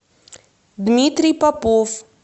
дмитрий попов